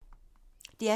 DR P3